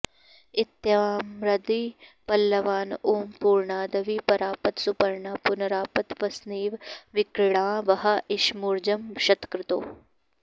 इत्याम्रादि पल्लवान् ॐ पूर्णादवि परापत सुपुर्णा पुनरापत वस्नेव विक्रीणा वहा इषमूर्जं शतक्रतोः